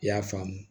I y'a faamu